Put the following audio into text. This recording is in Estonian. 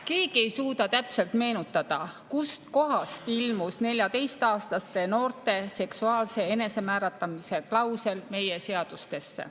Keegi ei suuda täpselt meenutada, kust kohast ilmus 14‑aastaste noorte seksuaalse enesemääratlemise klausel meie seadustesse.